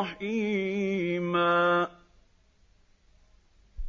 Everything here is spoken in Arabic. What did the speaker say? رَّحِيمًا